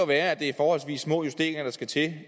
være at det er forholdsvis små justeringer der skal til